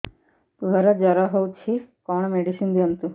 ପୁଅର ଜର ହଉଛି କଣ ମେଡିସିନ ଦିଅନ୍ତୁ